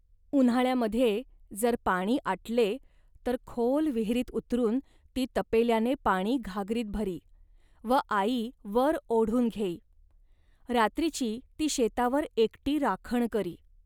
उन्हाळ्यामध्ये जर पाणी आटले, तर खोल विहिरीत उतरून ती तपेल्याने पाणी घागरीत भरी व आई वर ओढून घेई. रात्रीची ती शेतावर एकटी राखण करी